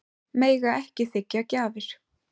Mega ekki þiggja gjafir